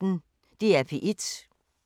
DR P1